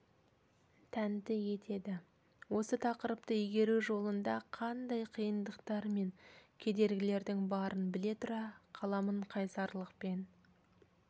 тәнті етеді осы тақырыпты игеру жолында қандай қиындықтар мен кедергілердің барын біле тұра қаламын қайсарлықпен